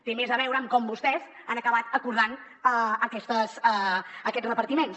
té més a veure amb com vostès han acabat acordant aquests repartiments